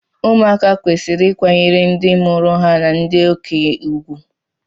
ụmụaka kwesịrị ịkwanyere ndị mụrụ ha na ndị okenye ùgwù